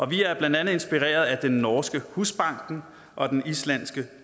vi er blandt andet inspireret af den norske husbanken og den islandske